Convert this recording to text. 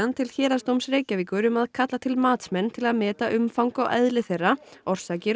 til Héraðsdóms Reykjavíkur um að kalla til matsmenn til að meta umfang og eðli þeirra orsakir og